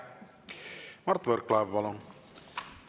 Mart Võrklaev, palun!